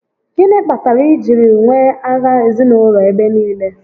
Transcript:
Gịnị kpatara e jiri nwee agha ezinaụlọ ebe niile?